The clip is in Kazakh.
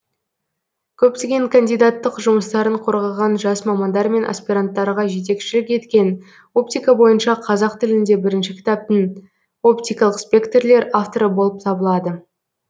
көптеген кандидаттық жұмыстарын қорғаған жас мамандар мен аспиранттарға жетекшілік еткен оптика бойынша қазақ тілінде бірінші кітаптың оптикалық спектрлер авторы болып табылады